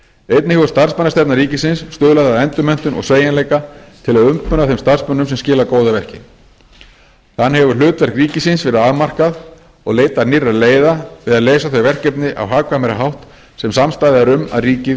einnig hefur starfsmannastefna ríkisins stuðlað að endurmenntun og sveigjanleika til að umbuna þeim starfsmönnum sem skila góðu verki þannig hefur hlutverk ríkisins verið afmarkað og leitað nýrra leiða við að leysa þau verkefni á hagkvæmari hátt sem samstaða er um að ríkið